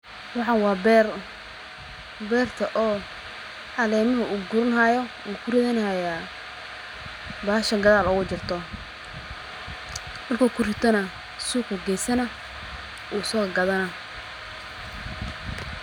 Waxan waa beer beerta oo caleemaha uu guranahayo uu kuridhanahayaa bahasha gadhaal ugajirto markuu kuritoneh suqa ayuu geesani uusogadhani.